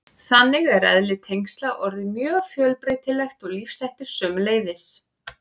Þannig er eðli tengsla orðið mjög fjölbreytilegt og lífshættir sömuleiðis.